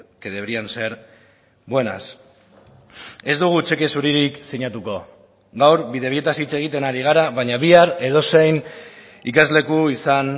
que deberían ser buenas ez dugu txeke zuririk sinatuko gaur bidebietaz hitz egiten ari gara baina bihar edozein ikasleku izan